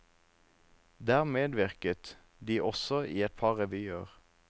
Der medvirket de også i et par revyer.